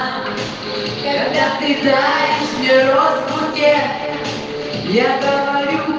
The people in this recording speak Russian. надо будет у тебя ты да если род уроке я говорю